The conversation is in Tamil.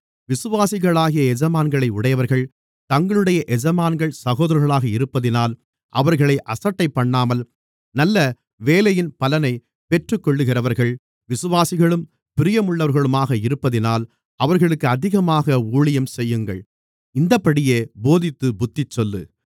விசுவாசிகளாகிய எஜமான்களை உடையவர்கள் தங்களுடைய எஜமான்கள் சகோதரர்களாக இருப்பதினால் அவர்களை அசட்டைபண்ணாமல் நல்ல வேலையின் பலனைப் பெற்றுக்கொள்ளுகிறவர்கள் விசுவாசிகளும் பிரியமுள்ளவர்களுமாக இருப்பதினால் அவர்களுக்கு அதிகமாக ஊழியம் செய்யுங்கள் இந்தப்படியே போதித்துப் புத்திசொல்லு